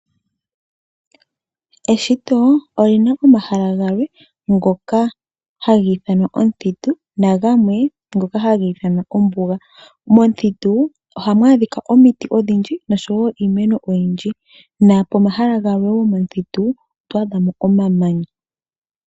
Eshito olina omahala galwe ngoka haga ithanwa omuthitu na gamwe ngoka haga ithanwa ombuga. Momuthitu ohamu adhika omiti odhindji noshowo iimeno oyindji, nopomahala galwe wo momuthitu oto adha mo omamanya.